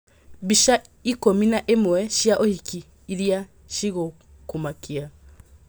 Mbica ikũmi na ĩmwe cia ũhiki iria cigũkũmakia.